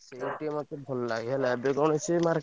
ସେଇଠି ଟିକେ ମତେ ଭଲ ଲାଗେ ହେଲା ଏବେ କଣ ସିଏ market ।